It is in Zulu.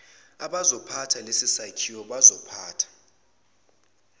abazophatha lesisakhiwo bazosiphatha